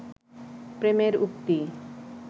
প্রেমের উক্তি